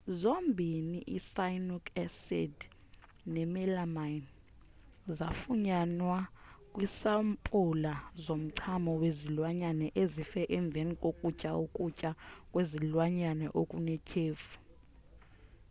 zombini i-cyanuric acid nemelamine zafunyanwa kwisampula zomchamo wezilwanyana ezife emveni kokutya ukutya kwezilwanyana okunethyefu